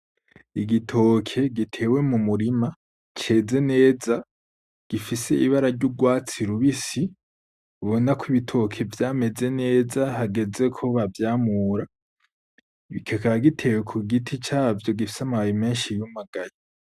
Igitoke gitewe mu murima ceze neza gifise ibara ry'urwatsi rubisi, ubona ko ibitoke vyameze neza hageze ko bavyamura kikaba gitewe cavyo gifise amababi menshi yumagaye.